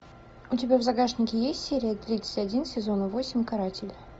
у тебя в загашнике есть серия тридцать один сезона восемь каратель